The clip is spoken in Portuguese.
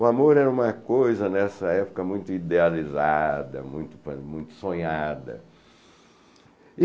O amor era uma coisa, nessa época, muito idealizada, muito muito sonhada.